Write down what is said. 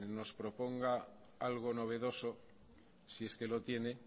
nos proponga algo novedoso si es que lo tiene